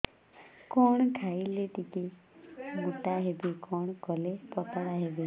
କଣ ଖାଇଲେ ଟିକେ ମୁଟା ହେବି କଣ କଲେ ପତଳା ହେବି